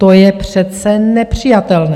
To je přece nepřijatelné!